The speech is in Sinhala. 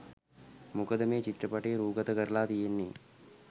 මොකද මේ චිත්‍රපටය රූගතකරලා තියෙන්නෙ